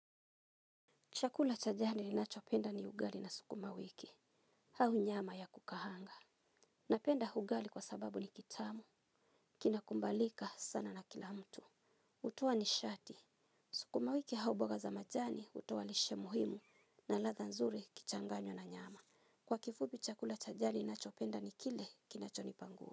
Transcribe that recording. Chakula cha jadi ninachopenda ni ugali na sukuma wiki, hau nyama ya kukahanga. Napenda ugali kwa sababu ni kitamu, kinakumbalika sana na kila mtu. Utoa ni shati, sukuma wiki hauboga za majani utowalishe muhimu na latha nzuri ukichanganywa na nyama. Kwa kifubi chakula cha jadi ninachopenda ni kile kinachonipa nguvu.